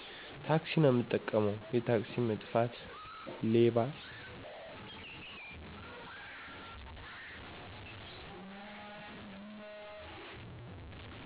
ታክሲ ነው ምጠቀመው፦ የታክሲ መጥፋት፣ ሌባ